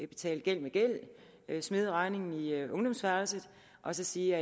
betale gæld med gæld smide regningen i ungdomsværelset og så sige